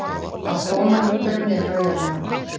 Að koma einhverjum niður á jörðina